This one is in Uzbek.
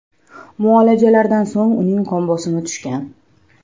Muolajalardan so‘ng uning qon bosimi tushgan.